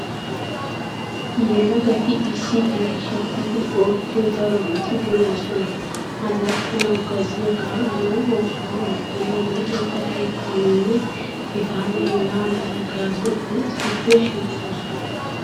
Yelagati issi diri shiiqidi oottiyo darobati de"oosona. Allaxxanawu, gazziyaa kaa'anawu, oosuwaa oottanawu, luxetta keettaninne hegaanne hegaa mala gaasotunb issippe shiiqoosona .